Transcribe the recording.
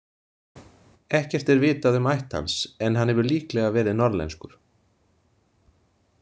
Ekkert er vitað um ætt hans en hann hefur líklega verið norðlenskur.